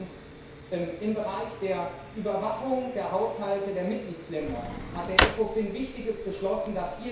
Zweitens Im Bereich der Überwachung der Haushalte der Mitgliedstaaten hat der ECOFIN Wichtiges beschlossen.